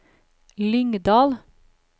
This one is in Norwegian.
Lyngdal